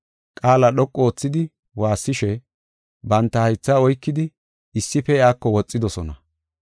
Qaala dhoqu oothidi waassishe, banta haytha oykidi issife iyako woxidosona